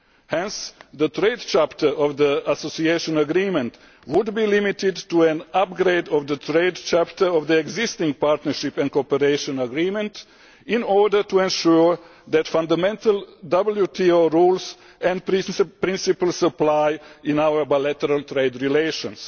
Hence the trade chapter of the Association Agreement would be limited to an upgrade of the trade chapter of the existing Partnership and Cooperation Agreement, in order to ensure that fundamental WTO rules and principles apply in our bilateral trade relations.